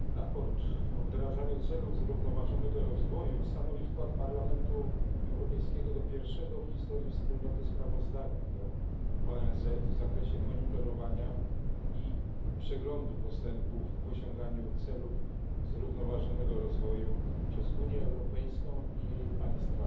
Pani Przewodnicząca! Sprawozdanie o wdrażaniu celów zrównoważonego rozwoju stanowi wkład Parlamentu Europejskiego do pierwszego w historii Wspólnoty sprawozdania dla ONZ w zakresie monitorowania i przeglądu postępów w osiąganiu celów zrównoważonego rozwoju przez Unię Europejską i jej państwa